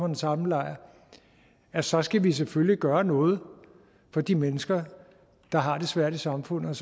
den samme lejr at så skal vi selvfølgelig gøre noget for de mennesker der har det svært i samfundet